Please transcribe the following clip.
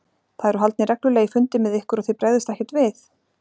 Það eru haldnir reglulegir fundir með ykkur og þið bregðist ekkert við?